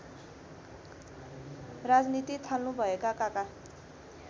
राजनीति थाल्नुभएका काका